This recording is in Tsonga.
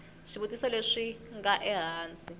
swivutiso leswi swi nga ehansi